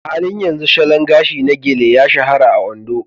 A halin yanzu salon gashi na Gele ya shahara a Ondo.